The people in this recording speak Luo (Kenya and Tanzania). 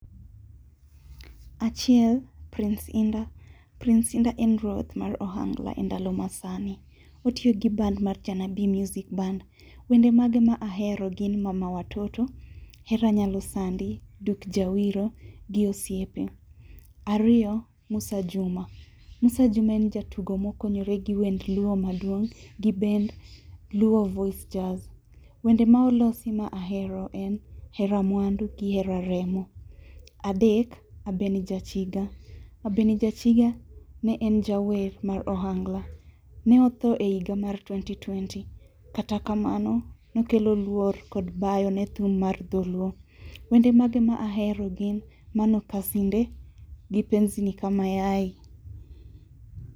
Achiel, Prince Indah. Prince Indah en ruoth mar ohangla e ndalo masani. Otiyo gi band mar 'Janabi Music Band'. Wende mage ma ahero gin 'Mama watoto, Hera nyalo sandi, Duk Jawiro gi Osiepe. Ariyo, Mussa Juma. Mussa Juma en jatugo mokonyore gi wend luo maduong' gi bend 'Luo voice jazz'. Wende ma olosi ma ahero en 'Hera mwandu gi Hera Remo'. Adek ,Abeni Jachiga. Abeni Jachiga ne en jawer mar ohangla. Ne otho e higa mar twenty twenty, kata kamano, ne kelo luorkod bayo ne thum mar dholuo. Wende mage ma ahero gin 'Mano kasinde gi penzi ni kama yai.